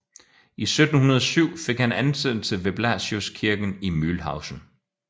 I 1707 fik han ansættelse ved Blasiuskirken i Mühlhausen